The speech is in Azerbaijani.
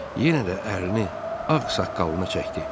Yenə də əlini ağ saqqalına çəkdi.